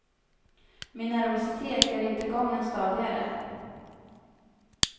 Min nervositet gör inte gången stadigare.